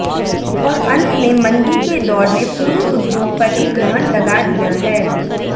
और अंत में मंदी के दौर में पूरे उद्योग पर ही ग्रहण लगा दिया है